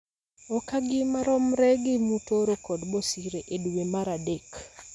okagi maromre gi Mutoro kod Bosire e dwe mar adek